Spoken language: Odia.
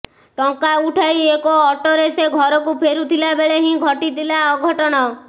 ଟଙ୍କା ଉଠାଇ ଏକ ଅଟୋରେ ସେ ଘରକୁ ଫେରୁଥିଲା ବେଳେ ହିଁ ଘଟିଲା ଅଘଟଣ